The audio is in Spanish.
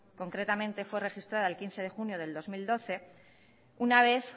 concretamente fue registrada el quince de junio de dos mil doce una vez